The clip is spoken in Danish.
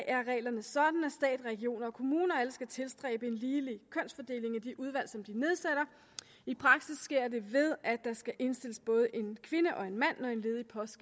er reglerne sådan at stat regioner og kommuner skal tilstræbe en ligelig kønsfordeling i de udvalg som de nedsætter i praksis sker det ved at der skal indstilles både en kvinde og en mand når en ledig post